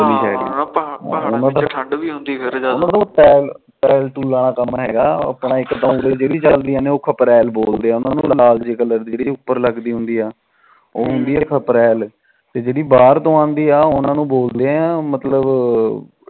ਕ ਲਾਲ ਜੇ ਕਲਰ ਦੀ ਜਿਹੜੀ ਉਪਰ ਲੱਗਦੀ ਹੁੰਦੀ ਉਹ ਹੁੰਦੀ ਤੇ ਜਿਹੜੀ ਬਾਹਰ ਤੋ ਆਦੀ ਉਹਨੂੰ ਬੋਲਦੇ ਮਤਲਬ